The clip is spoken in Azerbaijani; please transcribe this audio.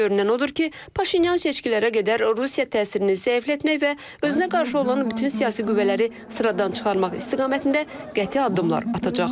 Görünən odur ki, Paşinyan seçkilərə qədər Rusiya təsirini zəiflətmək və özünə qarşı olan bütün siyasi qüvvələri sıradan çıxarmaq istiqamətində qəti addımlar atacaq.